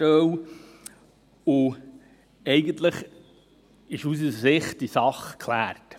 Aus unserer Sicht ist die Sache eigentlich geklärt.